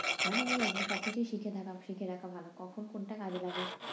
মানে ওই একদম সব কিছুই শিখে থাকা শিখে রাখা ভালো, কখন কোনটা কাজে লাগে।